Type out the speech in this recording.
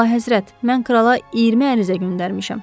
Əlahəzrət, mən krala 20 ərizə göndərmişəm.